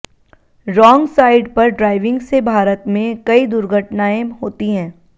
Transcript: wrong side पर driving से भारत में कई दुर्घटनाएं होती हैं